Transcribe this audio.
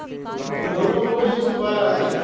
બોલો બોલો યશુ ભાઈ